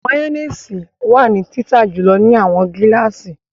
Mayonnaise wa ni tita julọ ni awọn gilasi